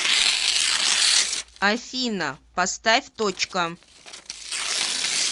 афина поставь точка